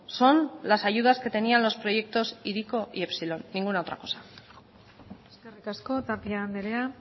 son las ayudas que tenían los proyectos hiriko y epsilon ninguna otra cosa eskerrik asko tapia andrea